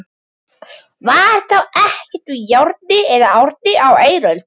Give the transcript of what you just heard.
Var þá ekkert úr járni á eiröld?